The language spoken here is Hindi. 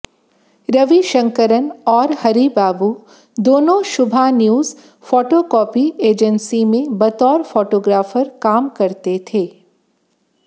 रविशंकरन और हरिबाबू दोनो शुभा न्यूज फोटोकॉपी एजेंसी में बतौर फोटोग्राफर काम करते थे